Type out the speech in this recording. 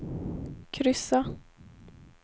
kryssa